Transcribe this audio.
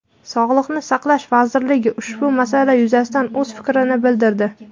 Sog‘liqni saqlash vazirligi ushbu masala yuzasidan o‘z fikrini bildirdi.